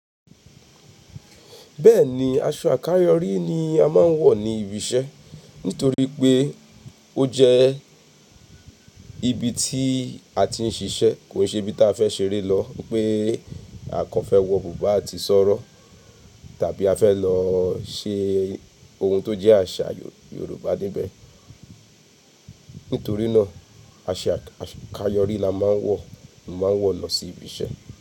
Bẹ́ẹ̀ni, aṣọ àkáyọrí ni a máa ń wọ̀ ní ibi iṣẹ́ nítorí pé ó jẹ́ ibi tí a ti ń ṣiṣẹ́ kò ṣe ibi tí a fẹ́ ṣeré lọ pé akàn fẹ́ wọ bùbá àti sọ̀rọ̀ tàbí a fẹ́ lọ ṣe ohun tó jẹ́ àṣà Yorùbá níbẹ̀. Nítorí náà, aṣọ àkáyọrí la máa ń wọ̀, máa wọ̀ lọ sí ibi iṣẹ́.